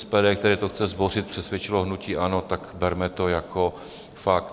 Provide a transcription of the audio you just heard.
SPD, které to chce zbořit, přesvědčilo hnutí ANO, tak berme to jako fakt.